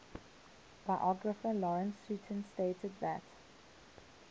biographer lawrence sutin stated that